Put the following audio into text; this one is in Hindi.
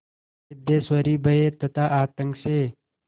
सिद्धेश्वरी भय तथा आतंक से